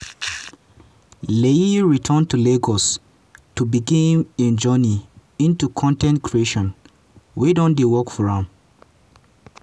layi return to lagos to begin im journey into con ten t creation wey don work for am.